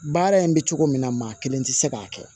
Baara in bɛ cogo min na maa kelen tɛ se k'a kɛ